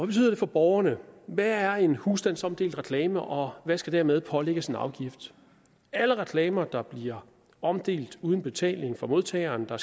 betyder det for borgerne hvad er en husstandsomdelt reklame og hvad skal dermed pålægges en afgift alle reklamer der bliver omdelt uden betaling fra modtageren og